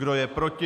Kdo je proti?